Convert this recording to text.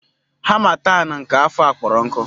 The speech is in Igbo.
Harmattan nke afọ a kpọrọ nkụ.